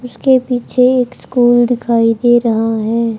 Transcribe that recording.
उसके पीछे एक स्कूल दिखाई दे रहा है।